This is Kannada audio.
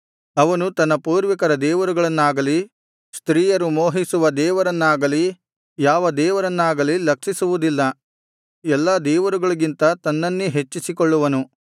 ಅವನು ತನ್ನ ಪೂರ್ವಿಕರ ದೇವರುಗಳನ್ನಾಗಲಿ ಸ್ತ್ರೀಯರು ಮೋಹಿಸುವ ದೇವರನ್ನಾಗಲಿ ಯಾವ ದೇವರನ್ನಾಗಲಿ ಲಕ್ಷಿಸುವುದಿಲ್ಲ ಎಲ್ಲಾ ದೇವರುಗಳಿಗಿಂತ ತನ್ನನ್ನೇ ಹೆಚ್ಚಿಸಿಕೊಳ್ಳುವನು